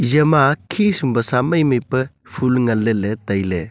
eya ma khisum pasa mai mai pa phool ngan leley tailey.